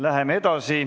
Läheme edasi.